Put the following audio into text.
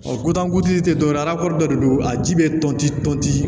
kutanko tɛ dɔwɛrɛ ye a kɔrɔ dɔ de don a ji bɛ tɔnti tɔnti